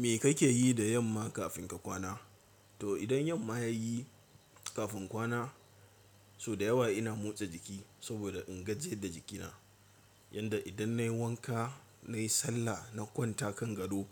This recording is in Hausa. Me kake yi da yamma kafin ka kwana? To idan yamma ya yi kafin kwana so da yawa ina motsa jiki saboda in gajiyar da jikina. Yanda idan nayi wanka, nayi sallah na kwanta kan gado